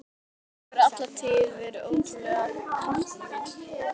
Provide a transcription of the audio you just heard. Árni hefur alla tíð verið ótrúlega kraftmikill.